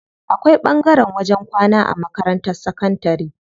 Akwai ɓangaren wajen kwana a makarantar sakantari.